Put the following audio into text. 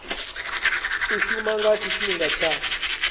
u shuma nga tshifhinga tsha